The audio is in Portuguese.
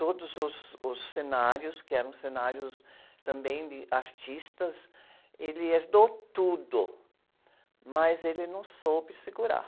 Todos os, os, os cenários, que eram cenários também de artistas, ele herdou tudo, mas ele não soube segurar.